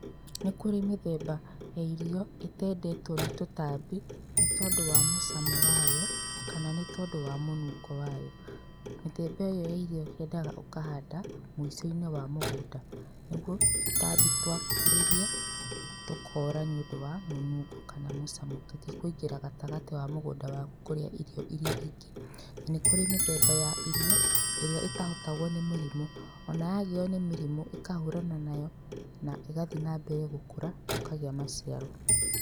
Nĩ kũrĩ mĩthemba ya irio itendetwo nĩ tũtambi nĩ tondũ wa mũcamo wa yo kana nĩ tondũ wa mũnungo wa yo. Mĩthemba ĩyo ya irio yendaga ũkahanda muico-inĩ wa mũgũnda nĩguo tũtambi twakuhĩrĩria tũkora nĩũndũ wa mũnungo kana mũcamo tũtĩkũingĩra gatagatĩ wa mũgũnda waku kũrĩa irio ĩrĩa ingĩ. Na nĩ kũrĩ mĩthemba ya irio ĩrĩa itahotagwo nĩ mĩrimũ o na yagiyo nĩ mĩrimũ ĩkahũrana nayo na igathiĩ na mbere gũkũra na ũkagĩa maciaro.